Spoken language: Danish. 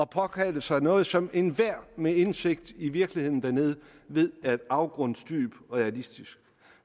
påkalde sig noget som enhver med indsigt i virkeligheden dernede ved er afgrundsdybt urealistisk